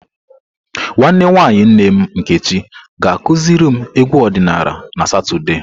Nwanne nwanyi nne m Nkechi ga-akuziri m egwu odinala na Satọde.